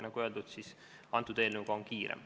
Nagu öeldud, eelnõuga on kiire.